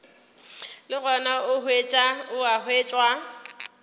le gona o a hwetšwa